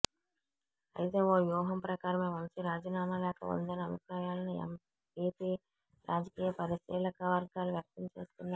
అయితే ఓ వ్యూహం ప్రకారమే వంశీ రాజీనామా లేఖ ఉందనే అభిప్రాయాలను ఏపీ రాజకీయ పరిశీలక వర్గాలు వ్యక్తం చేస్తున్నాయి